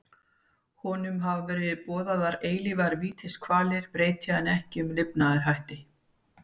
Honum hafa verið boðaðar eilífar vítiskvalir breyti hann ekki um lifnaðarhætti.